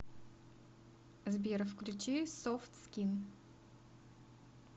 сбер включи софт скин